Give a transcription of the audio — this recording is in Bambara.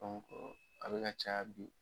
a bɛ ka caya bi.